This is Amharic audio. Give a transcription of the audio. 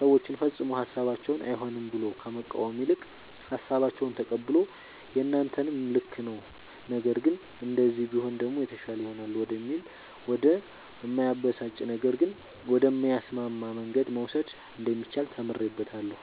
ሰወችን ፈፅሞ ሀሳባቸውን አይሆንም ብሎ ከመቃወም ይልቅ ሃሳባቸውን ተቀብሎ የናንተም ልክ ነዉ ነገር ግን እንደዚህ ቢሆን ደሞ የተሻለ ይሆናል ወደሚል ወደ እማያበሳጭ ነገር ግን ወደሚያስማማ መንገድ መውሰድ እንደሚቻል ተምሬበታለሁ።